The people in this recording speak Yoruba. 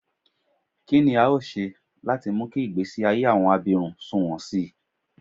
Kí ni a óò ṣe láti mú kí ìgbésí ayé àwọn abirùn sunwọ̀n sí i?